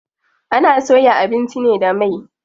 Ana soya abinci ne da mai.